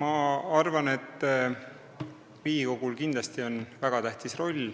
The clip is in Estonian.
Ma arvan, et Riigikogul on siin kindlasti väga tähtis roll